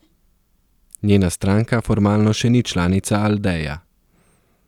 Njena stranka formalno še ni članica Aldeja.